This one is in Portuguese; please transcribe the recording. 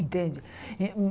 Entende? em em